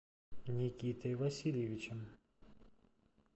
никитой васильевичем